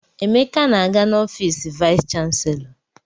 Emeka na-aga n'ọfiisi vaịs chanselọ.